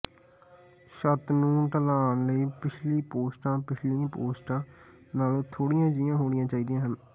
ਛੱਤ ਨੂੰ ਢਲਾਣ ਲਈ ਪਿਛਲੀ ਪੋਸਟਾਂ ਪਿਛਲੀਆਂ ਪੋਸਟਾਂ ਨਾਲੋਂ ਥੋੜ੍ਹੀਆਂ ਜਿਹੀਆਂ ਹੋਣੀਆਂ ਚਾਹੀਦੀਆਂ ਹਨ